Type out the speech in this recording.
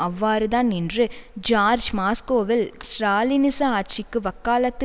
அவ்வாறுதான் என்று ஜார்ஜ் மாஸ்கோவில் ஸ்ராலினிச ஆட்சிக்கு வக்காலத்து